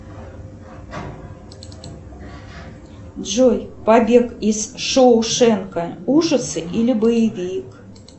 джой побег из шоушенка ужасы или боевик